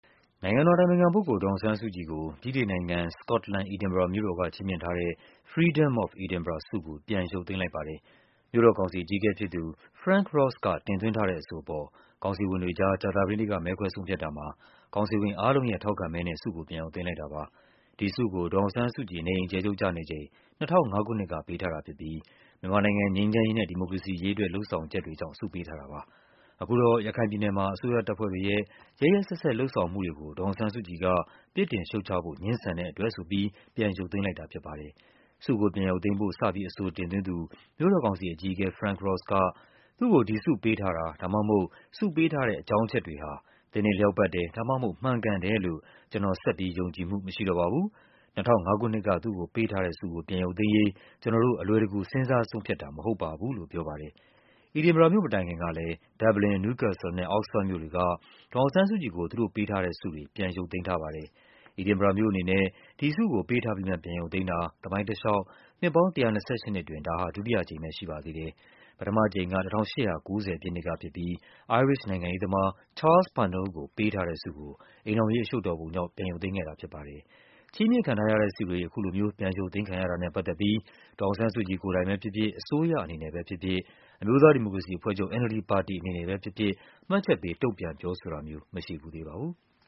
နိုင်ငံတော်အတိုင်ပင်ခံပုဂ္ဂိုလ်ကို ဗြိတိန်နိုင်ငံ၊ စကော့တ်လန်၊ Edinburgh မြို့တော်က ချီးမြှင့်ထားတဲ့ Freedom of Edinburgh ဆုကို ပြန်ရုပ်သိမ်းလိုက်ပါတယ်။ မြို့တော်ကောင်စီအကြီးအကဲဖြစ်သူ Lord Provost Frank Ross က တင်သွင်းထားတဲ့အဆိုအပေါ် ကောင်စီဝင်တွေကြား ကြာသပတေးနေ့က မဲခွဲဆုံးဖြတ်တာမှာ ကောင်စီဝင်အားလုံးရဲ့ ထောက်ခံမဲနဲ့ ဆုကို ပြန်ရုပ်သိမ်းလိုက်တာပါ။ ဒီဆုကို ဒေါ်အောင်ဆန်းစုကြည် နေအိမ်အကျယ်ချုပ် ကျနေချိန် ၂၀၀၅ ခုနှစ်က ပေးထားတာဖြစ်ပြီး မြန်မာနိုင်ငံ ငြိမ်းချမ်းရေးနဲ့ ဒီမိုကရေစီရေးအတွက် လုပ်ဆောင်ချက်တွေကြောင့် ဆုပေးထားတာပါ။ အခုတော့ ရခိုင်ပြည်နယ်မှာ အစိုးရတပ်ဖွဲ့တွေရဲ့ ရက်ရက်စက်စက် လုပ်ဆောင်မှုတွေကို ဒေါ်အောင်ဆန်းစုကြည်က ပြစ်တင် ရှုတ်ချဖို့ ငြင်းဆန်တဲ့အတွက်ဆိုပြီး ပြန်ရုပ်သိမ်းလိုက်တာဖြစ်ပါတယ်။ ဆုကိုပြန်ရုပ်သိမ်းဖို့ စပြီး အဆိုတင်သွင်းသူ မြို့တော်ကောင်စီအကြီးအကဲ Lord Provost Frank Ross က “သူ့ကို ဒီဆုပေးထား တာ ဒါမှမဟုတ် ဆုပေးထားတဲ့ အကြောင်းအချက်တွေဟာ သင့်တင့်လျောက်ပတ်တယ် ဒါမှမဟုတ် မှန်ကန်တယ်လို့ ကျနော် ဆက်ပြီး ယုံကြည်မှု မရှိတော့ပါဘူး၊ ၂၀၀၅ ခုနှစ်က သူ့ကိုပေးထားတဲ့ဆုကို ပြန်ရုပ်သိမ်းရေး ကျနော်တို့ အလွယ်တကူ စဉ်းစား ဆုံးဖြတ်တာ မဟုတ်ပါဘူး” လို့ပြောပါတယ်။ Edinburg မြို့မတိုင်ခင်ကလည်း Dublin ၊ Newscastle နဲ့ Oxford မြို့တွေက ဒေါ်အောင်ဆန်းစုကြည်ကို သူတို့ပေးထားတဲ့ဆု တွေကို ပြန်ရုပ်သိမ်းထားပါတယ်။ Edinburgh မြို့အနေနဲ့ ဒီဆုကို ပေးထားပြီးမှ ပြန်ရုပ်သိမ်းတာ သမိုင်းတလျှောက် နှစ်ပေါင်း ၁၂၈ နှစ်အတွင်း ဒါဟာ ဒုတိယအကြိမ်ပဲ ရှိပါသေးတယ်။ ပထမအကြိမ်က ၁၈၉၀ ပြည့်နှစ်ကဖြစ်ပြီး အိုင်းရစ်ရှ် နိုင်ငံရေးသမား Charles Parnell ကို ပေးထားတဲ့ဆုကို အိမ်ထောင်ရေးအရှုပ်တော်ပုံကြောင့် ပြန်ရုပ်သိမ်းခဲ့တာဖြစ်ပါတယ်။ ချီးမြှင့်ခံထားရတဲ့ဆုတွေ အခုလိုမျိုး ပြန်ရုပ်သိမ်းခံရတာနဲ့ပတ်သက်ပြီး ဒေါ်အောင်ဆန်းစုကြည် ကိုယ်တိုင်ပဲဖြစ်ဖြစ်၊ အစိုးရအနေ နဲ့ပဲဖြစ်ဖြစ်၊ အမျိုးသားဒီမိုကရေစီအဖွဲ့ချုပ် NLD ပါတီအနေနဲ့ပဲဖြစ်ဖြစ် မှတ်ချက်ပေး တုန့်ပြန် ပြောဆိုတာမျိုး မရှိဖူးသေးပါဘူး။